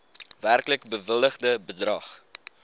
werklik bewilligde bedrag